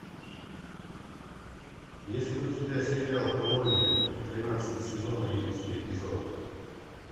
есть ли у тебя сериал колония тринадцатый сезон одиннадцатый эпизод